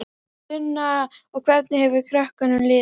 Sunna: Og hvernig hefur krökkunum liðið?